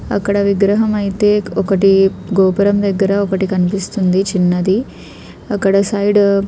అక్కడ విగ్రహం ఐతే ఒకటి గోపురం దెగ్గర ఒకటి కన్పిస్తుంది చిన్నది అక్కడ సైడ్ --